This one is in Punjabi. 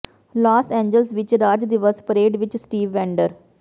ਲਾਸ ਏਂਜਲਸ ਵਿਚ ਰਾਜ ਦਿਵਸ ਪਰੇਡ ਵਿਚ ਸਟੀਵ ਵੈਂਡਰ